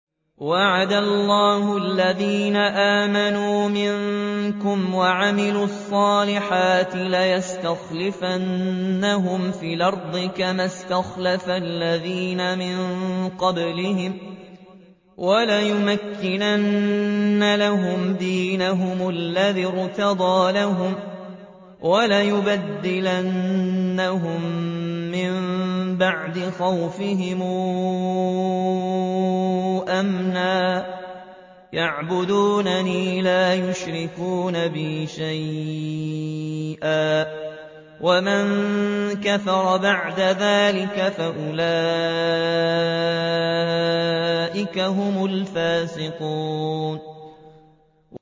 وَعَدَ اللَّهُ الَّذِينَ آمَنُوا مِنكُمْ وَعَمِلُوا الصَّالِحَاتِ لَيَسْتَخْلِفَنَّهُمْ فِي الْأَرْضِ كَمَا اسْتَخْلَفَ الَّذِينَ مِن قَبْلِهِمْ وَلَيُمَكِّنَنَّ لَهُمْ دِينَهُمُ الَّذِي ارْتَضَىٰ لَهُمْ وَلَيُبَدِّلَنَّهُم مِّن بَعْدِ خَوْفِهِمْ أَمْنًا ۚ يَعْبُدُونَنِي لَا يُشْرِكُونَ بِي شَيْئًا ۚ وَمَن كَفَرَ بَعْدَ ذَٰلِكَ فَأُولَٰئِكَ هُمُ الْفَاسِقُونَ